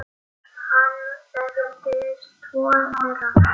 Hann þekkti tvo þeirra.